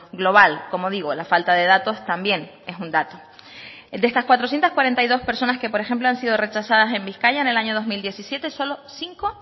global como digo la falta de datos también es un dato el de estas cuatrocientos cuarenta y dos personas que por ejemplo han sido rechazadas en bizkaia en el año dos mil diecisiete solo cinco